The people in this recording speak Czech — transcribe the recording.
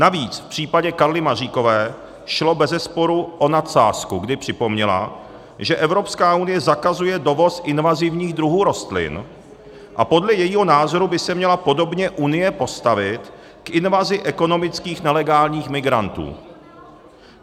Navíc v případě Karly Maříkové šlo bezesporu o nadsázku, kdy připomněla, že Evropská unie zakazuje dovoz invazivních druhů rostlin, a podle jejího názoru by se měla podobně Unie postavit k invazi ekonomických nelegálních migrantů.